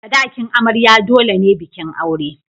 Sadakin amarya dole ne bikin aure.